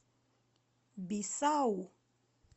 бисау